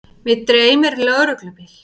Mig dreymir lögreglubíl.